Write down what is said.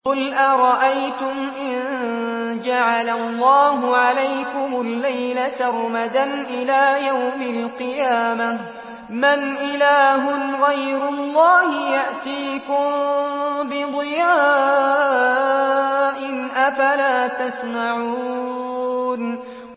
قُلْ أَرَأَيْتُمْ إِن جَعَلَ اللَّهُ عَلَيْكُمُ اللَّيْلَ سَرْمَدًا إِلَىٰ يَوْمِ الْقِيَامَةِ مَنْ إِلَٰهٌ غَيْرُ اللَّهِ يَأْتِيكُم بِضِيَاءٍ ۖ أَفَلَا تَسْمَعُونَ